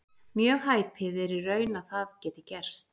Mjög hæpið er í raun að það geti gerst.